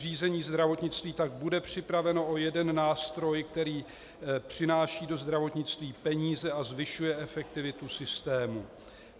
Řízení zdravotnictví tak bude připraveno o jeden nástroj, který přináší do zdravotnictví peníze a zvyšuje efektivitu systému.